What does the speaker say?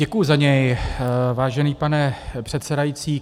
Děkuji za něj, vážený pane předsedající.